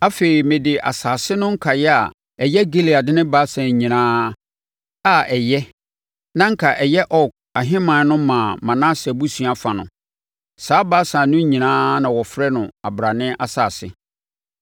Afei, mede asase no nkaeɛ a ɛyɛ Gilead ne Basan nyinaa a ɛyɛ na anka ɛyɛ Og ahemman no maa Manase abusua fa no. Saa Basan no nyinaa na wɔfrɛ no abrane asase.